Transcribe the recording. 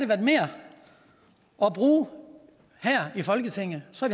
været mere at bruge her i folketinget så